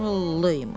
Ağıllıymış.